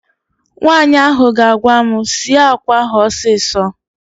Nwaanyị ahụ ga-agwa m, sie àkwá ahụ ọsịsọ!